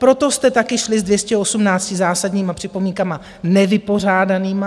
Proto jste taky šli s 218 zásadními připomínkami nevypořádanými.